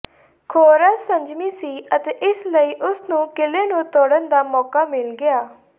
ਖੋਰਸ ਸੰਜਮੀ ਸੀ ਅਤੇ ਇਸ ਲਈ ਉਸ ਨੂੰ ਕਿਲੇ ਨੂੰ ਤੋੜਨ ਦਾ ਮੌਕਾ ਮਿਲ ਗਿਆ